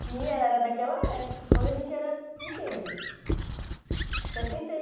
Tinha, ela era daquela época, quando a gente era pequeno. Setenta e